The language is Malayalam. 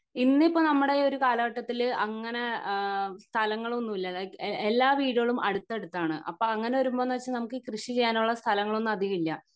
ഇന്നിപ്പോ നമ്മുടെ ഈ ഒരു കാലഘട്ടത്തിൽ അങ്ങിനെ അഹ് സ്ഥലങ്ങളൊന്നും ഇല്ല ലൈക് എല്ലാ വീടുകളും അടുത്തടുത്താണ് അപ്പൊ അങ്ങിനെ വരുമ്പൊന്ന് വെച്ച നമുക്ക് ഈ കൃഷി ചെയ്യാനുള്ള സ്ഥലങ്ങളൊന്നും അധികം ഇല്ല